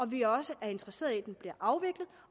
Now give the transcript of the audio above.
vi også er interesserede i at den bliver afviklet